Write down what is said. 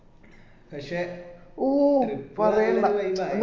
പക്ഷേ trip അത് നല്ല ഒരു vibe ആയീനും